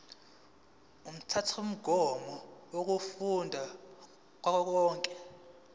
umthethomgomo wemfundo kazwelonke